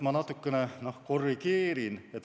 Ma natukene korrigeerin.